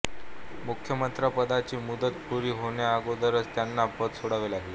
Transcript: मुख्यमंत्रिपदाची मुदत पुरी होण्याअगोदरच त्यांना पद सोडावे लागले